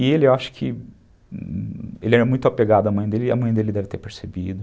E ele, eu acho que, ele era muito apegado à mãe dele e a mãe dele deve ter percebido.